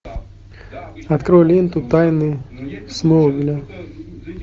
открой ленту тайны смолвиля